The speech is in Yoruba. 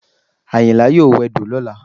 Àyìnlá yóò wẹdò lọ́la